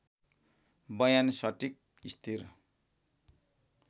बयान सटिक स्थिर